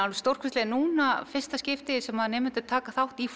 stórkostlegt núna fyrsta skipti sem nemendur taka þátt í